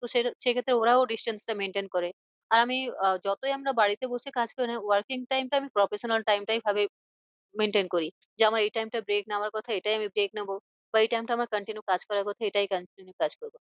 তো সে সেই ক্ষেত্রে ওরাও distance টা maintain করে। আর আমি আহ যতই আমরা বাড়িতে বসে কাজ করি না কেন working time টা আমি professional time টাই ভাবে maintain করি। যে আমার এই time টা break নেওয়ার কথা এটাই আমি break নেবো বা এই time টা আমার continue কাজ করার কথা এটায় continue কাজ করবো।